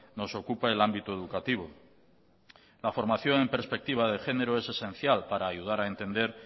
nos ocupa el ámbito educativo la formación en perspectiva de género es esencial para ayudar a entender